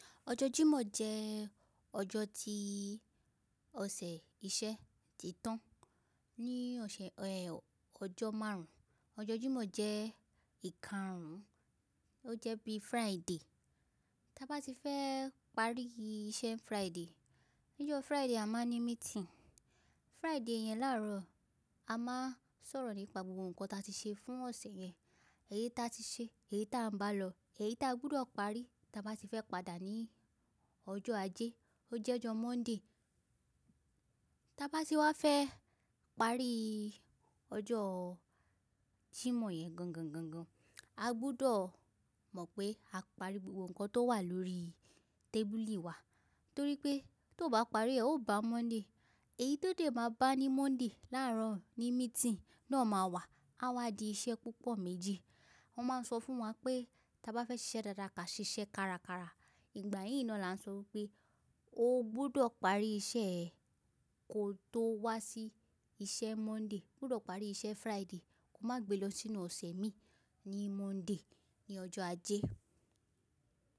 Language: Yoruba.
Ọjọ́ jímọ̀ jẹ́ ọjọ́ tí ọ̀sẹ̀ iṣẹ́ ti tán. Ni ọ̀sẹ̀ ẹ́, ọjọ́ márùn-ún. Ọjọ́ jímọ̀ jẹ́ ìkarun, ó jẹ́ bí Friday. Tí a bá ti fẹ́ parí iṣẹ́ Friday, ní ọjọ́ Friday a máa ní meeting. Friday yẹn láàárọ̀ a máa sọ̀rọ̀ nípa gbogbo nǹkan ta ti ṣe fún ọ̀sẹ̀ yẹn. Èyí ta ti ṣe, èyí ta ń bá lọ, èyí ta gbọdọ̀ parí tí a bá ti fẹ́ padà ní ọjọ́ ajé, ó jẹ́ ọjọ́ Monday. Tí a bá ti wá fẹ́ parí ọjọ́ jímọ̀ yẹn gangan, gangan, a gbudọ̀ mọ̀ pé a parí gbogbo nǹkan tó wà lórí tábìlì wa. Torí pé tó bá parí, ẹ ò bá Monday. Èyí tó dè máa bá ní Monday láàárọ̀ ní meeting náà máa wà, a wá di iṣẹ́ púpọ̀ méjì. Wọ́n máa ń sọ fún wa pé tí a bá fẹ́ ṣiṣẹ́ dáadáa ka ṣiṣẹ́ kárakára. Ìgbà yíín ni wọ́n náa ni ań sọ wípé o gbudọ̀ parí iṣẹ́ ẹ kó tó wá sí iṣẹ́ Monday. O gbudọ̀ parí iṣẹ́ Friday, kó má gbe lọ sínú ọ̀sẹ̀ mi ní Monday, ní ọjọ́ ajé.